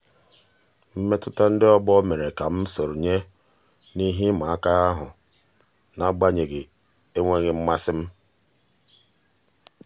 mmetụta ndị ọgbọ mere ka ka m sonye n'ihe ịma aka ahụ n'agbanyeghị enweghị mmasị m.